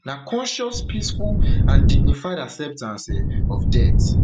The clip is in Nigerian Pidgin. na conscious peaceful and dignified acceptance um of death